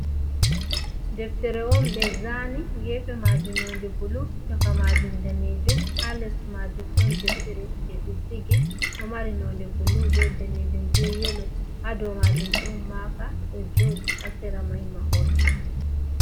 Deftere on ɓe zani gefe majum nonde bulu caka majum danejum, ha les majun ɗon deftere je ɓe sigi ɗo mari nonde bulu be danejum be yelo, ha domajum ɗon maka ɗo joɗi hasira mai mahol on.